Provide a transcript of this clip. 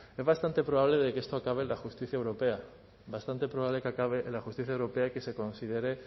es bastante probable de que esto acabe en la justicia europea bastante probable de que acabe en la justicia europea y que se considere